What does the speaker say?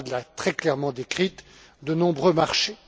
Abad l'a très clairement décrite de nombreux marchés.